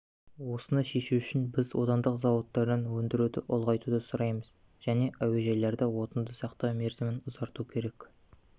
осыны шешу үшін біз отандық зауыттардан өндіруді ұлғайтуды сұраймыз және әуежайларда отынды сақтау мерзімін ұзарту керек